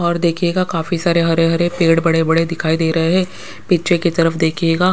और देखिएगा काफी सारे हरे हरे पेड़ बड़े बड़े दिखाई दे रहे हैं पीछे की तरफ देखिएगा --